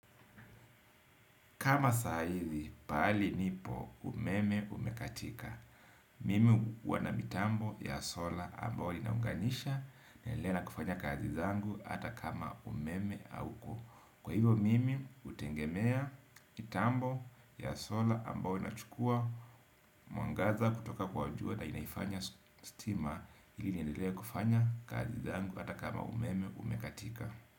Kama saa hizi pahali nipo umeme umekatika. Mimi uona mitambo ya sola ambao linaunganisha naendelea na kufanya kazi zangu ata kama umeme auko. Kwa hivo mimi utengemea mitambo ya sola ambao inachukua mwangaza kutoka kwa jua na inaifanya stima ili niendelee kufanya kazi zangu ata kama umeme umekatika.